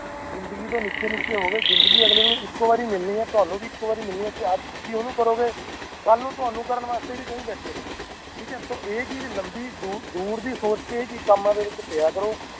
ਜ਼ਿੰਦਗੀ ਤੋਂ ਨਿੱਕੇ ਨਿੱਕ ਹੋਵੇ ਜ਼ਿੰਦਗੀ ਅਗਲੇ ਨੂੰ ਇੱਕੋ ਵਾਰ ਮਿਲਣੀ ਹੈ ਤਾਣੁ ਵੀ ਇੱਕੋ ਵਾਰ ਮਿਲਣੀ ਜੇ ਅੱਜ ਤੁਸੀ ਓਹਨੂੰ ਕਰੋ ਗਏ ਕੱਲ ਨੂੰ ਤਾਣੁ ਕਰਨ ਵਾਸਤੇ ਵੀ ਕਈ ਬੈਠ ਨੇ ਠੀਕ ਤੇ ਏਹ ਚੀਜ ਲੰਬੀ ਦੂਰ ਦੀ ਸੋਚ ਕੇ ਜੇ ਏਹ ਕੰਮਾਂ ਚ ਪਿਆ ਕਰੋ